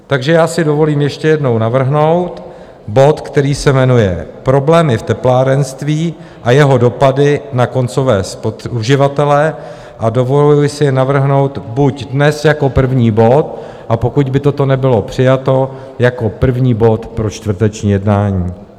Takže já si dovolím ještě jednou navrhnout bod, který se jmenuje Problémy v teplárenství a jeho dopady na koncové uživatele, a dovoluji si navrhnout buď dnes jako první bod, a pokud by toto nebylo přijato, jako první bod pro čtvrteční jednání.